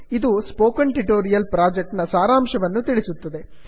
ಇದು spoken tutorial project ನ ಸಾರಾಂಶವನ್ನು ತಿಳಿಸುತ್ತದೆ